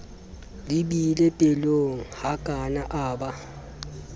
le beile pelonghakana a ba